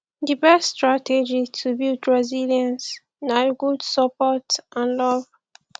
di best strategy to build resilience na good support and love